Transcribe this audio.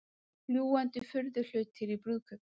Fljúgandi furðuhlutir í brúðkaupi